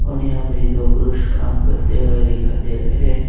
और यहां पर ये दो पुरुष काम करते हुए दिखाई दे रहे हैं।